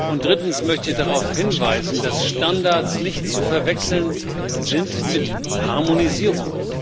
Und drittens möchte ich darauf hinweisen, dass Standards nicht zu verwechseln sind mit Harmonisierung.